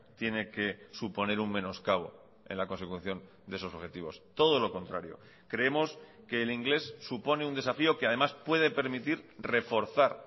tiene que suponer un menoscabo en la consecución de esos objetivos todo lo contrario creemos que el inglés supone un desafío que además puede permitir reforzar